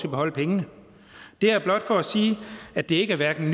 at beholde pengene det er blot for at sige at det hverken